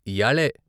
' ఇయ్యాళే.